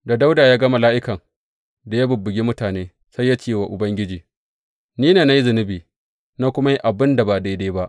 Da Dawuda ya ga mala’ikan da ya bubbugi mutane, sai ya ce wa Ubangiji, Ni ne na yi zunubi, na kuma yi abin da ba daidai ba.